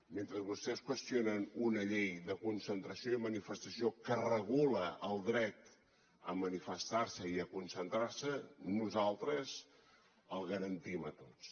mentre vostès qüestionen una llei de concentració i manifestació que regula el dret a manifestar se i a concentrar se nosaltres el garantim a tots